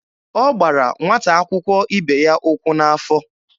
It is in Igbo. Ọ gbara nwata akwụkwọ ibe ya ụkwụ n'afọ.